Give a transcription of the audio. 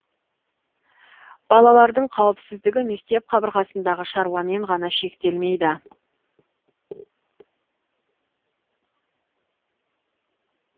балалардың қауіпсіздігі мектеп қабырғасындағы шаруамен ғана шектелмейді